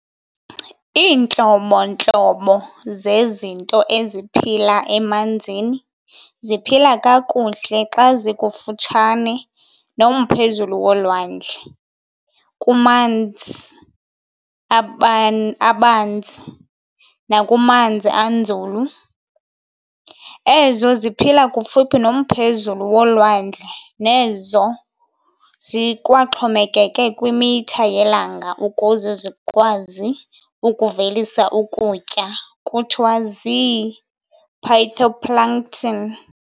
Intlobo-ntlobo zezinto eziphila emanzini ziphila kakuhle xa zikufutshane nomphezulu wolwandle, kumanzi abanzi, nakumanzi anzulu. Ezo ziphila kufuphi nomphezulu wolwandle nezo zikwaxhomekeke kwimitha yelanga ukuze zikwazi ukuvelisa ukutya kuthiwa zii-phytoplankton.